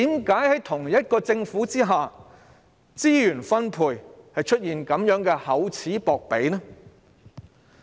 為何同一個政府在資源分配上會這樣厚此薄彼？